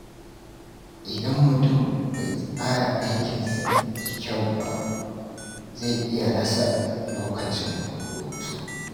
Idan mutum bai tsara aikinsa da kyau ba, zai iya rasa lokacin hutu.